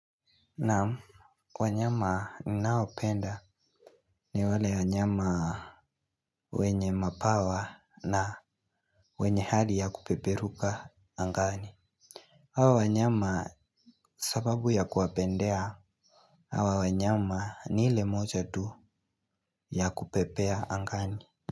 Naam. Kwa nyama ninayopenda ni wale wanyama wenye mabawa na wenye hali ya kupeperuka angani. Hawa wanyama sababu ya kuwapendea hawa wanyama ni ile moja tu ya kupepea angani.